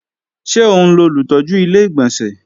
Ṣé òun lolùtọ́jú Ilé-ìgbọ̀nsẹ̀?